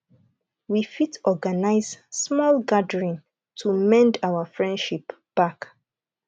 we fit organize small gathering to mend our friendship back